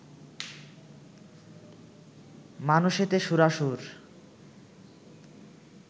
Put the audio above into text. মানুষেতে সূরাসুর